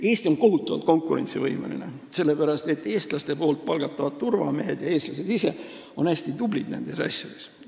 Eesti on siin kohutavalt konkurentsivõimeline, sellepärast et eestlaste palgatavad turvamehed ja eestlased ise on hästi tublid nendes asjades.